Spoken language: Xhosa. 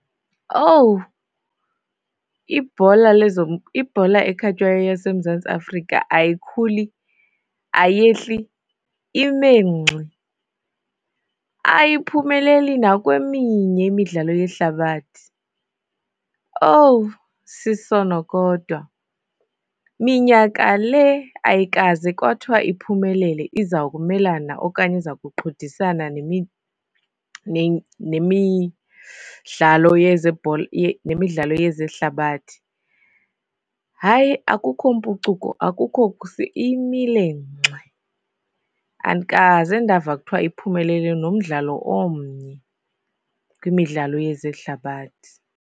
Owu ibhola lezo ibhola ekhatywayo yaseMzantsi Afrika ayikhuli, ayehli, ime ngxi. Ayiphumeleli nakweminye imidlalo yehlabathi. Owu, sisono kodwa! Minyaka le, ayikaze kwathiwa iphumelele iza kumelana okanye iza kuqhudisana nemidlalo yezebhola, nemidlalo yezehlabathi. Hayi akukho mpucuko, akukho imile ngxi. Andikaze ndava kuthiwa iphumelele nomdlalo omnye kwimidlalo yezehlabathi.